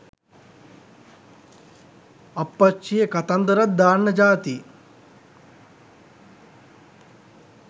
අප්පච්චියේ කතන්දරත් දන්න ජාති